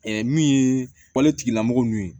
min ye waletigilamɔgɔ ninnu ye